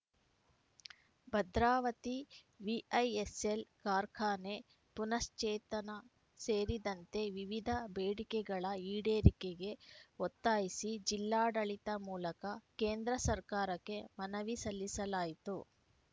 Bhadravati VISL ಕಾರ್ಖಾನೆ ಪುನಃಶ್ಚೇತನ ಸೇರಿದಂತೆ ವಿವಿಧ ಬೇಡಿಕೆಗಳ ಈಡೇರಿಕೆಗೆ ಒತ್ತಾಯಿಸಿ ಜಿಲ್ಲಾಡಳಿತದ ಮೂಲಕ ಕೇಂದ್ರ ಸರ್ಕಾರಕ್ಕೆ ಮನವಿ ಸಲ್ಲಿಸಲಾಯಿತು